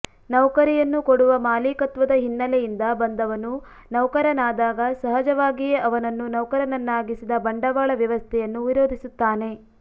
ನೌಕರಿಯನ್ನು ಕೊಡುವ ಮಾಲೀಕತ್ವದ ಹಿನ್ನೆಲೆಯಿಂದ ಬಂದವನು ನೌಕರನಾದಾಗ ಸಹಜವಾಗಿಯೇ ಅವನನ್ನು ನೌಕರನನ್ನಾಗಿಸಿದ ಬಂಡವಾಳ ವ್ಯವಸ್ಥೆಯನ್ನು ವಿರೋಧಿಸುತ್ತಾನೆ